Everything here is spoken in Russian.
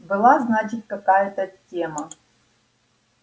была значит какая-то тема